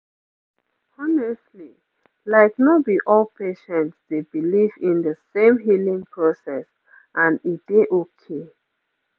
honestly like no be all patients dey believe in de same healing process and e dey okay